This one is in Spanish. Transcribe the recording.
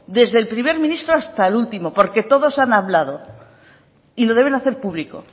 desde el primer ministro hasta el último porque todos han hablado y lo deben hacer público